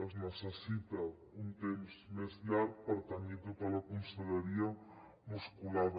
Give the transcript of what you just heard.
es necessita un temps més llarg per tenir tota la conselleria musculada